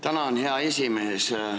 Tänan, hea esimees!